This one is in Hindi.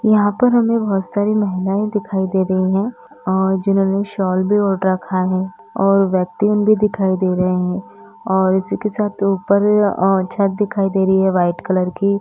तो यहाँं पर हमें बहुत सारी महिलाएं दिखाई दे रही हैं और जिन्होंने शॉल भी ओढ़ रखा है और व्यक्ति हम भी दिखाई दे रहे हैं और उसी के साथ ऊपर अ छत दिखाई दे रही है वाइट कलर की।